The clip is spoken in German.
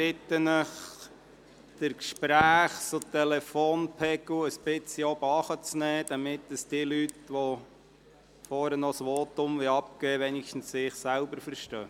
Ich bitte Sie, den Gesprächs- und Telefonpegel etwas zurückzunehmen, damit diejenigen, die am Rednerpult ein Votum abgeben möchten, zumindest sich selbst verstehen.